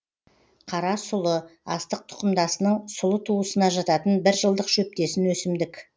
қара сұлы астық тұқымдасының сұлы туысына жататын бір жылдық шөптесін өсімдік